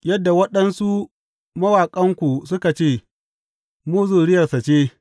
Yadda waɗansu mawaƙanku suka ce, Mu zuriyarsa ce.’